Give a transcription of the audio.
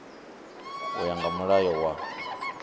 u ya nga mulayo wa